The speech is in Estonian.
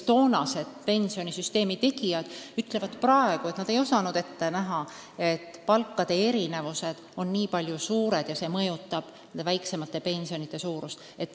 Kunagised pensionisüsteemi tegijad ütlevad praegu, et nad ei osanud ette näha, et palkade erinevused on nii suured ja et see mõjutab väiksemate pensionite suurust.